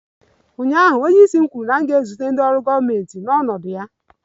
Ụnyaahụ, onyeisi m kwuru na m ga-ezute ndị ọrụ gọọmentị n'ọnọdụ ya!